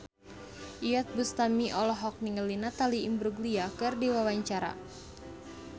Iyeth Bustami olohok ningali Natalie Imbruglia keur diwawancara